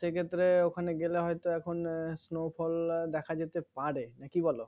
সেই ক্ষেত্রে ওখানে গেলে হয়তো এখন snowfall দেখা যেতে পারে না কি বলো